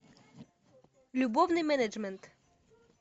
любовный менеджмент